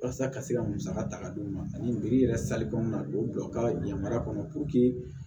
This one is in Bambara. Walasa ka se ka musaka ta k'a d'u ma ani biriki yɛrɛ salikan k'u bila u ka yamaruya kɔnɔ